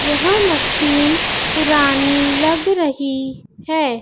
यह मशीन पुरानी लग रही है।